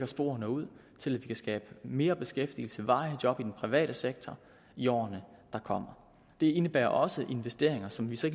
spor ud så vi kan skabe mere beskæftigelse og varige job i den private sektor i årene der kommer det indebærer også investeringer som vi så